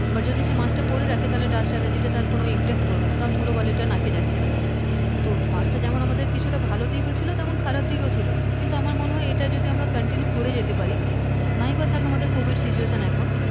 but যদি সে mask পড়ে থাকে তাহলে dust allergy তার কোন impact করবে না কারণ ধুলোবালিটা তার নাকি যাচ্ছে না তো মাস্কটা যেমন কিছুটা আমাদের ভালো ভালো দিকও ছিল তেমন খারাপ দিকও ছিল কিন্তু আমার মনে হয় এটাতে continue করে যেতে পারি। নাই বা থাক আমাদের covid situation এখন